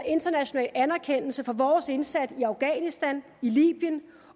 international anerkendelse for vores indsats i afghanistan i libyen